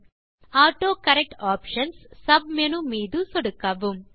கடைசியாக autocorrect options submenu மீதும் சொடுக்கவும்